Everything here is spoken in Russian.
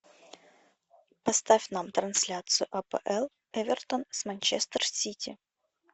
поставь нам трансляцию апл эвертон с манчестер сити